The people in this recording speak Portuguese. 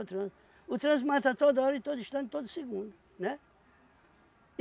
O trânsito. O trânsito mata toda hora, em todo instante, em todo segundo, né?